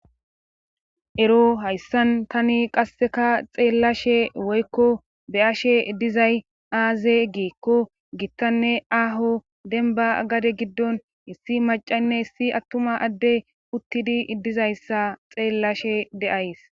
ero hayssan tani qasseka xeellashe woykko be ashe dizay aaze geekko gittanne aaho denba gade giddon issi macaynne hissi attuma adde uttidi dizayssa xeellashe de7ays